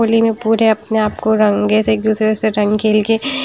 होली में पूरे अपने आप को रंगे से एक दूसरे से रंग खेल के--